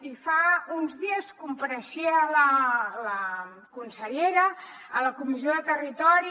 i fa uns dies compareixia la consellera a la comissió de territori